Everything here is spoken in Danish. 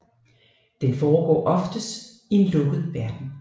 Den foregår oftest i en lukket verden